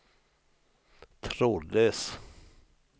trådlös